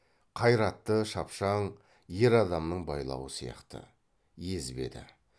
қайратты шапшаң ер адамның байлауы сияқты езбеді